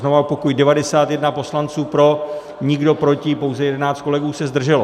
Znovu opakuji, 91 poslanců pro, nikdo proti, pouze 11 kolegů se zdrželo.